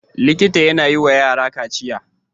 Likita yAna yi wa yara kaciya